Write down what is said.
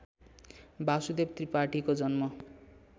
वासुदेव त्रिपाठीको जन्म